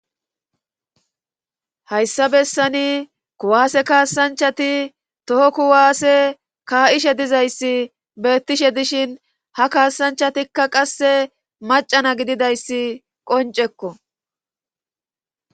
hayssa bessani kuwaase kaasanchati toho kuwaasse kaa'ishe dizayssi beettishe dishin ha kaasanchatikka qasse macana gididayssi qoncekko